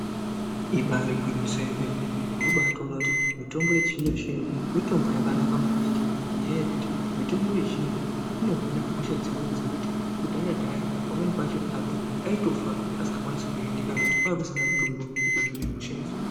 Ibari gwinyiso remene mitombo unobaatoona kuti mitombo yechizvinozvino mitombo yakanaka maningi ngenyaya yekuti mitombo yechizvinozvino inohina hosha dzimweni dzekuti kudhayadhaya pamweni pacho anhu aitofa asingakwanisi kuhinika nekuti kwanga kusina mutombo wekuhina hosha idzona.